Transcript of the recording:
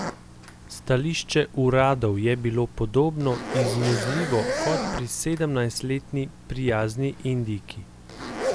Stališče uradov je bilo podobno izmuzljivo kot pri sedemnajstletni prijazni Indijki.